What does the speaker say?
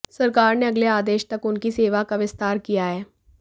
सरकार ने अगले आदेश तक उनकी सेवा का विस्तार किया है